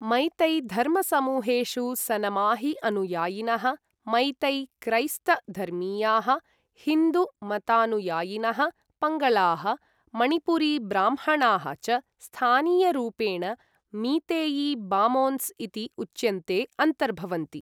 मैतै धर्मसमूहेषु सनमाही अनुयायिनः, मैतै क्रैस्त धर्मीयाः, हिन्दू मतानुयायिनः, पङ्गलाः, मणिपुरी ब्राह्मणाः च स्थानीयरूपेण ,मीतेई बामोन्स् इति उच्यन्ते अन्तर्भवन्ति।